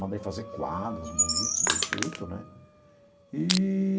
Mandei fazer quadros bonitos, bem feito, né? Eee.